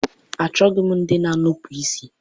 Achọghị m ndị na-enupụ isi.